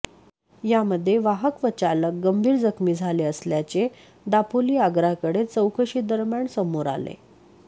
यामध्ये वाहक व चालक गंभीर जखमी झाले असल्याचे दापोली आगाराकडे चौकशीदरम्यान समोर आले